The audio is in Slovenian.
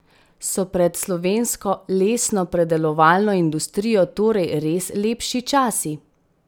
So pred slovensko lesnopredelovalno industrijo torej res lepši časi?